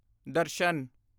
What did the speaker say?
ਦਰਸ਼ਨ